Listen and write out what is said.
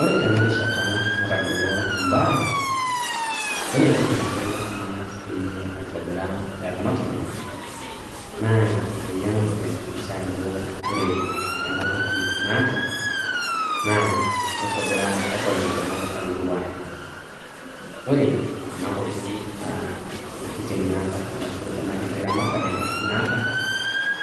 Ore tenarishata natagolo imbaa. Wore entoki nabo naas peyie aitobiraa eramatare naa peyie angas ayakikisha ajo ore enatoki naata naa kaitobiraa eton etualo aingoru ae. Ore kuna kuti aa tokitin naata erashu enakitiramatare naata,